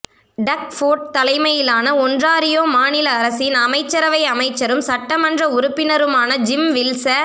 டக் Ford தலைமையிலான Ontario மாநில அரசின் அமைச்சரவை அமைச்சரும் சட்டமன்ற உறுப்பினருமான ஜிம் வில்ச